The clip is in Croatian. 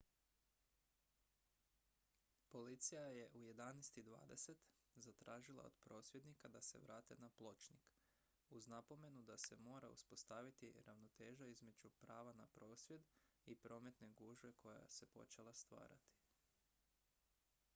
policija je u 11:20 zatražila od prosvjednika da se vrate na pločnik uz napomenu da se mora uspostaviti ravnoteža između prava na prosvjed i prometne gužve koja se počela stvarati